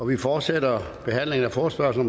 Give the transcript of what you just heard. vi fortsætter behandlingen af forespørgsel